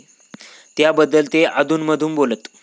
त्याबद्दल ते अधुनमधून बोलत.